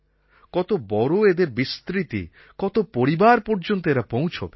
কত বড়ো এদের বিস্তৃতি কত পরিবার পর্যন্ত এরা পৌঁছবে